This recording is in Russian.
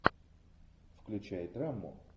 включай драму